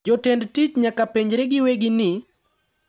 Jotend tich nyaka penjre giwegi ni,